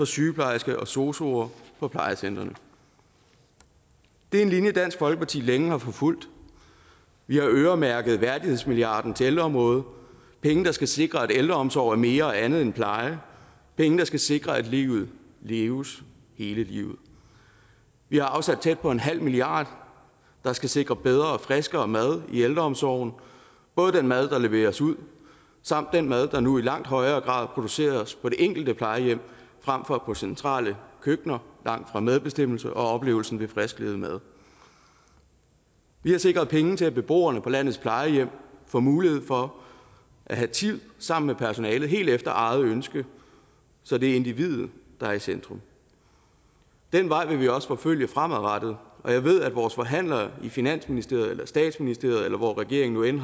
sygeplejersker og sosuer på plejecentre det er en linje dansk folkeparti længe har forfulgt vi har øremærket værdighedsmilliarden til ældreområdet penge der skal sikre at ældreomsorg er mere og andet end pleje penge der skal sikre at livet leves hele livet vi har afsat tæt på en halv milliard der skal sikre bedre og friskere mad i ældreomsorgen både den mad der leveres ud samt den mad der nu i langt højere grad produceres på det enkelte plejehjem frem for i centrale køkkener langt fra medbestemmelse og oplevelsen ved frisklavet mad vi har sikret penge til at beboerne på landets plejehjem får mulighed for at have tid sammen med personalet helt efter eget ønske så det er individet der er i centrum den vej vil vi også forfølge fremadrettet og jeg ved at vores forhandlere i finansministeriet eller statsministeriet eller hvor regeringen